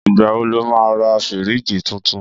Ìgbà wo lo máa ra fírííjì tuntun?